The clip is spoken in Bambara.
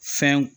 Fɛn